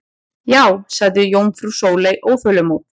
Já sagði jómfrú Sóley óþolinmóð.